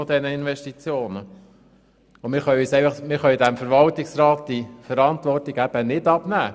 Wir können dem Verwaltungsrat diese Verantwortung nicht abnehmen.